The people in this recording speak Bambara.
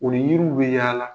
O yiri bɛ yaala